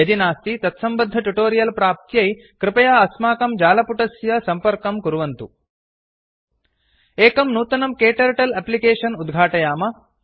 यदि नास्ति तत्सम्बद्ध टुटोरियल् प्राप्त्यै कृपया अस्माकं जालपुटस्य सम्पर्कं कुर्वन्तु httpspoken tutorialorg एकं नूतनं क्टर्टल अप्लिकेषन् उद्घाटयाम